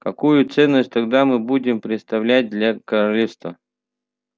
какую ценность тогда мы будем представлять для королевства